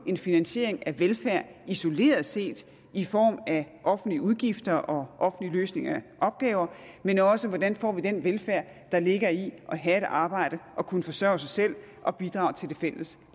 en finansiering af velfærd isoleret set i form af offentlige udgifter og offentlige løsninger af opgaver men også hvordan vi får den velfærd der ligger i at have et arbejde og kunne forsørge sig selv og bidrage til det fælles